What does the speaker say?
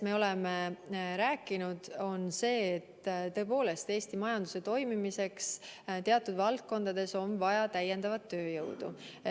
Me oleme rääkinud sellest, et tõepoolest on Eesti majanduse toimimiseks teatud valdkondades vaja täiendavat tööjõudu.